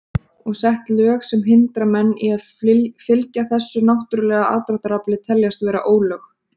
Og sett lög sem hindra menn í að fylgja þessu náttúrulega aðdráttarafli teljast vera ólög.